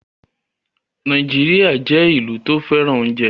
Nàìjíríà jẹ́ ìlú tó fẹ́ràn oúnjẹ